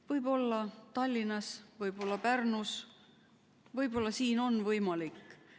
Võib-olla Tallinnas, võib-olla Pärnus on see võimalik.